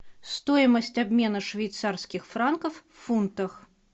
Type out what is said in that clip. стоимость обмена швейцарских франков в фунтах